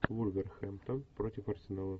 вулверхэмптон против арсенала